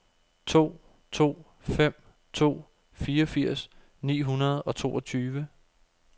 to to fem to fireogfirs ni hundrede og toogtyve